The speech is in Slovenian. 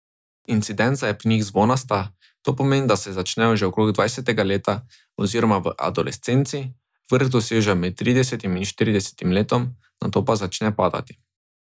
Incidenca je pri njih zvonasta, to pomeni, da se začnejo že okrog dvajsetega leta oziroma v adolescenci, vrh dosežejo med tridesetim in štiridesetim letom, nato pa začne padati.